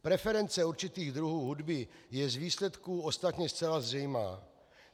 Preference určitých druhů hudby je z výsledků ostatně zcela zřejmá.